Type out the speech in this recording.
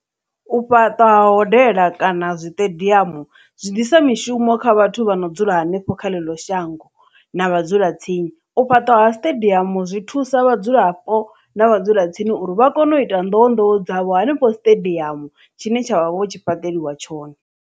U fhaṱa ha hodela kana zwiṱediamu zwi ḓisa mishumo kha vhathu vha no dzula hanefho kha eḽo shango na vhadzulatsini u fhaṱa ha siṱediamu zwi thusa vhadzulapo na vhadzulatsini uri vha kone u ita nḓowenḓowe dzavho hanefho stadium tshine tshavha vho tshi fhaṱeliwa tshone.